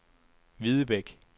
Hvidebæk